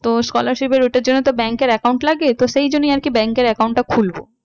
তো scholarship এর ওইটার জন্য তো bank এর account লাগে তো সেই জন্যই আর কি bank এর account টা খুলবো।